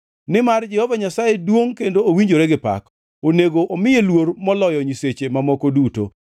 Nimar Jehova Nyasaye duongʼ kendo owinjore gi pak; onego omiye luor moloyo nyiseche mamoko duto.